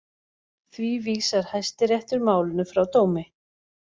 Því vísar Hæstiréttur málinu frá dómi